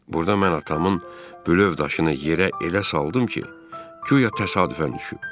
Burda mən atamın bülöv daşını yerə elə saldım ki, guya təsadüfən düşüb.